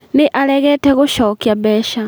Nĩ aregete gũcokia mbeca